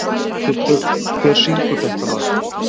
Kubbur, hver syngur þetta lag?